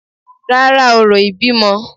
Rárá, orò ìbímọ